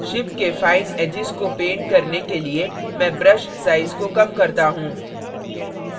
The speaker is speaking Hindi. ship के fine edges को paint करने के लिए मैं brush size को कम करता हूँ